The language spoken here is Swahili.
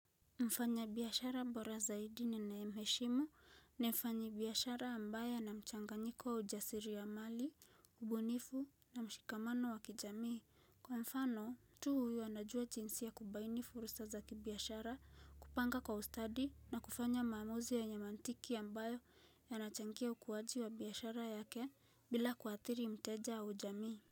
Mfanya biashara mbora zaidi ninae mheshimu na mfanyi biashara ambaye ana mchanganyiko wa ujasiri wa mali, ubunifu na mshikamano wa kijamii. Kwa mfano, mtu huyu anajua jinsia kubaini furusa za kibiyashara kupanga kwa ustadi na kufanya maamuzi ya nyamantiki ambayo yanachangia ukuaji wa biashara yake bila kuathiri mteja au jamii.